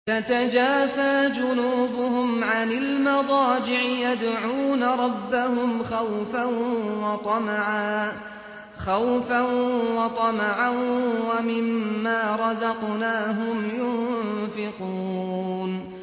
تَتَجَافَىٰ جُنُوبُهُمْ عَنِ الْمَضَاجِعِ يَدْعُونَ رَبَّهُمْ خَوْفًا وَطَمَعًا وَمِمَّا رَزَقْنَاهُمْ يُنفِقُونَ